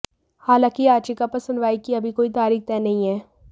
हालांकि याचिका पर सुनवाई की अभी कोई तारीख तय नहीं है